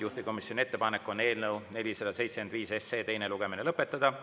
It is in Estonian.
Juhtivkomisjoni ettepanek on eelnõu 475 teine lugemine lõpetada.